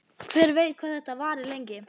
Hver veit hvað þetta varir lengi?